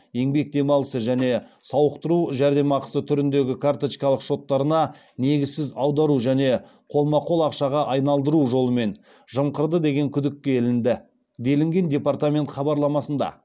еңбек демалысы және сауықтыру жәрдемақысы түріндегі карточкалық шоттарына негізсіз аудару және қолма қол ақшаға айналдыру жолымен жымқырды деген күдікке ілінді делінген дапартамент хабарламасында